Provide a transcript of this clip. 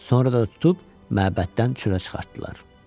Sonra da tutub məbəddən çölə çıxartdılar.